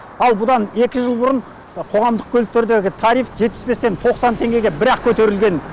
ал бұдан екі жыл бұрын қоғамдық көліктердегі тариф жетпіс бестен тоқсан теңгеге бір ақ көтерілген